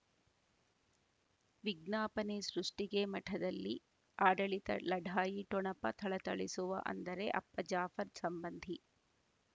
ವಿಜ್ಞಾಪನೆ ಸೃಷ್ಟಿಗೆ ಮಠದಲ್ಲಿ ಆಡಳಿತ ಲಢಾಯಿ ಠೊಣಪ ಥಳಥಳಿಸುವ ಅಂದರೆ ಅಪ್ಪ ಜಾಫರ್ ಸಂಬಂಧಿ